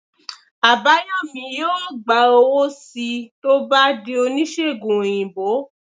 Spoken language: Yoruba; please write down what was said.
Abayomi yọọ gba owo sii to o bà dí onisegùn oyinbo